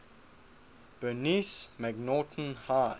bernice macnaughton high